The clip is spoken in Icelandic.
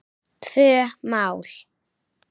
Tvö mál.